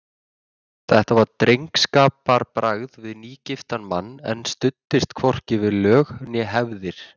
Þetta var drengskaparbragð við nýgiftan mann, en studdist hvorki við lög né hefðir.